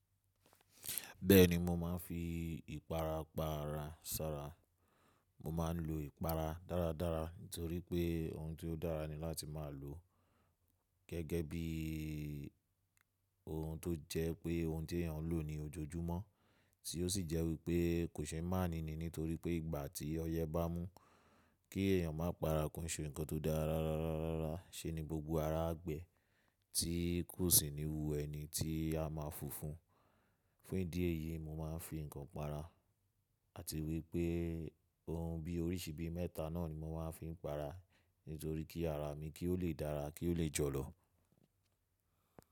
Bẹ́ẹ̀ni mo máa ń fi ìpara para sára. Mo máa ń lo ìpara dáradára nítorí pé ohun tó dára ni láti máa lò gẹ́gẹ́ bí ohun tó jẹ́ pé ohun tí èèyàn lò ní ojoojúmọ́, tí ó sì jẹ́ wípé kò ṣe máa ní ni nítorí pé ìgbà tí ọyẹ́ bá mú kí èèyàn má para kò se ǹkan tó dára dáradára, ṣé ni gbogbo ara a gbẹ́, tí kò sì ni wu ẹni tí a máa funfun. Fún ìdí èyí, mo máa ń fi ǹkan para àti wípé ohun bí oríṣi bí mẹ́ta náà ni mo máa ń fi para nítorí kí ara mi kí ó lè dára, kí ó lè jọ̀lọ̀.